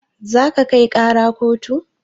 Za ka kai ƙara kotu?